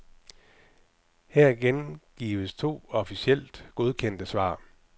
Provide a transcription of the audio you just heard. Her gengives to officielt godkendte svar.